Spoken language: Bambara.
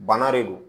Bana de don